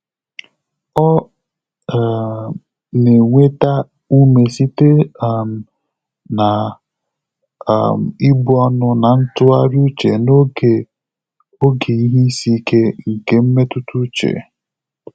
Ọ́ um nà-ènwétá úmé sìté um nà um íbù ọ́nụ́ nà ntụ́ghàrị́ úchè n’ógè ògé ìhè ísí íké nké mmétụ́tà úchè.